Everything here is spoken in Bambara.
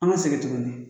An ka segin tuguni